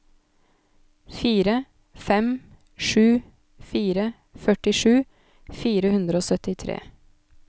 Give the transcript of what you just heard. fire fem sju fire førtisju fire hundre og syttitre